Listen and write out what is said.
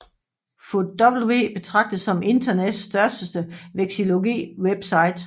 FotW betragtes som internettets største vexillologiwebsite